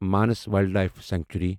minus wildlife century